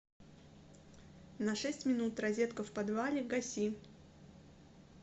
на шесть минут розетка в подвале гаси